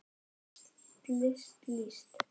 lest list líst